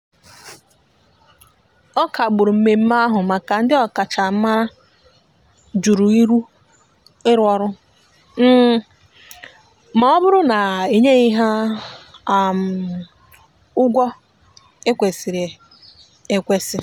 ọ kagburu mmeme ahu maka ndi okachamara jụrụ ịrụ ọrụ um ma ọbụrụ na enyeghi ha um ụgwọ ekwesiri ekwesi.